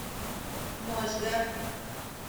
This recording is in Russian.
можга